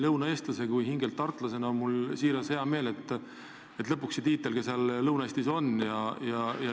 Lõunaeestlase ja hingelt tartlasena on mul siiralt hea meel, et lõpuks see tiitel sinna Lõuna-Eestisse läks.